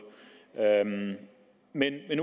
men